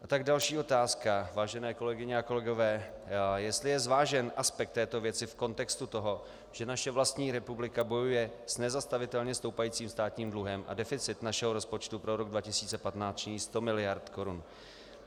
A tak další otázka, vážené kolegyně a kolegové, jestli je zvážen aspekt této věci v kontextu toho, že naše vlastní republika bojuje s nezastavitelně stoupajícím státním dluhem a deficit našeho rozpočtu pro rok 2015 činí 100 miliard korun.